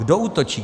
Kdo útočí?